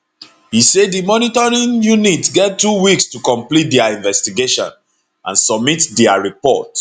e say di monitoring unit get two weeks to complete dia investigation and submit dia report